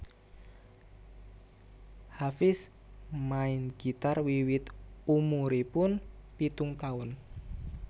Hafiedz main gitar wiwit umuripun pitung taun